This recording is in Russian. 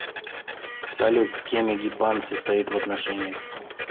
салют с кем эгипан состоит в отношениях